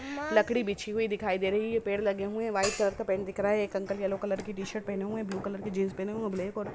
लकड़ी बिछी हुई दिखाई दे रहे हैं पेड़ लगे हुए हैं| व्हाइट कलर का पेन देख रहा है एक अंकल येलो कलर की टी-शर्ट पहने हुए ब्लू कलर की जींस पहने होय और ब्लैक और--